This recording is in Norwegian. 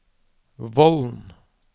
Vollen